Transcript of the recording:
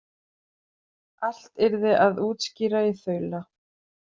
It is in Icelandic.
Allt yrði að útskýra í þaula.